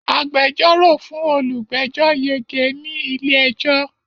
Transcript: Agbẹjọ́rò fún olùgbẹ́jọ́ yege ní ilé-ẹjọ́.